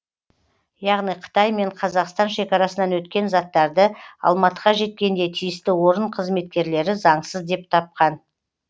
яғни қытай мен қазақстан шекарасынан өткен заттарды алматыға жеткенде тиісті орын қызметкерлері заңсыз деп тапқан